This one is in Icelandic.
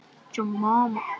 Elsku amma Dreki.